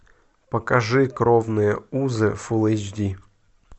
покажи кровные узы фулл эйч ди